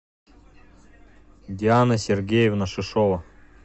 диана сергеевна шишова